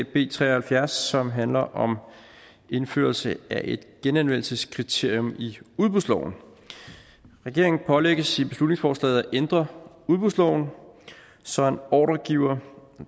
b tre og halvfjerds som handler om indførelse af et genanvendelseskriterium i udbudsloven regeringen pålægges i beslutningsforslaget at ændre udbudsloven så en ordregiver